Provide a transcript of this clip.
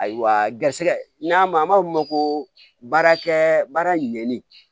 Ayiwa garisɛgɛ n'a ma an b'a f'o ma ko baarakɛ baara ɲɛni